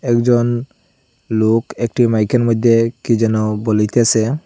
একজন লোক একটি মাইক -এর মইধ্যে কী যেন বলিতেসে।